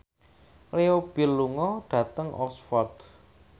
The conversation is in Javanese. Leo Bill lunga dhateng Oxford